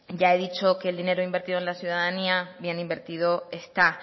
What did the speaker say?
ya he dicho que el dinero invertido en la ciudadanía bien invertido está